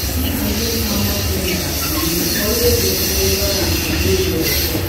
no assume how much chemical to usealways measure am as label talk